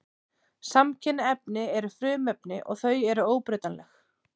Samkynja efni eru frumefni og þau eru óbreytanleg.